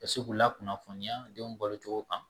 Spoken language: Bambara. Ka se k'u lakunnafoniya denw balo cogo kan